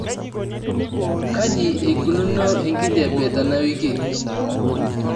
kaji eikununo enkijiape tenawiki